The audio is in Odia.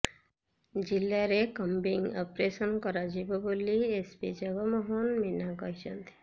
ଜିଲ୍ଲାରେ କମ୍ବିଂ ଅପରେସନ କରାଯିବ ବୋଲି ଏସ୍ପି ଜଗମୋହନ ମୀନା କହିଛନ୍ତି